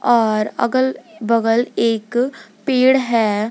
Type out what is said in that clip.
और अगल बगल एक पेड़ है।